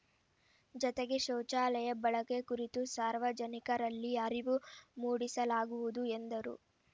ಜತೆಗೆ ಶೌಚಾಲಯ ಬಳಕೆ ಕುರಿತು ಸಾರ್ವಜನಿಕರಲ್ಲಿ ಅರಿವು ಮೂಡಿಸಲಾಗುವುದು ಎಂದರು